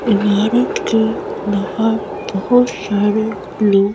इमारत के बाहर बहुत सारे लोग--